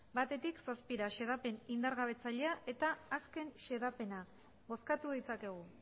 batetik zazpira xedapen indargabetzailea eta azken xedapena bozkatu ditzakegu